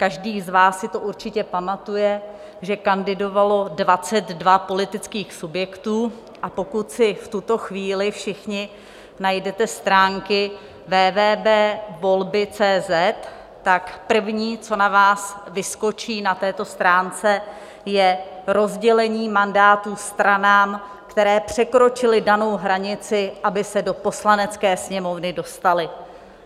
Každý z vás si to určitě pamatuje, že kandidovalo 22 politických subjektů, a pokud si v tuto chvíli všichni najdete stránky www.volby.cz, tak první, co na vás vyskočí na této stránce, je rozdělení mandátů stranám, které překročily danou hranici, aby se do Poslanecké sněmovny dostaly.